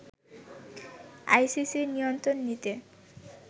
আইসিসির নিয়ন্ত্রণ নিতে